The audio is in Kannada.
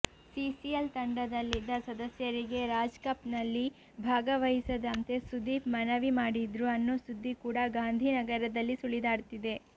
ಸಿಸಿಎಲ್ ತಂಡದಲ್ಲಿದ್ದ ಸದಸ್ಯರಿಗೆ ರಾಜ್ ಕಪ್ ನಲ್ಲಿ ಭಾಗವಹಿಸದಂತೆ ಸುದೀಪ್ ಮನವಿ ಮಾಡಿದ್ರು ಅನ್ನೋ ಸುದ್ದಿ ಕೂಡ ಗಾಂಧಿನಗರದಲ್ಲಿ ಸುಳಿದಾಡ್ತಿದೆ